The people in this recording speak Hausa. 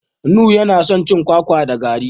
Nura yana son cin kwakwa da garri.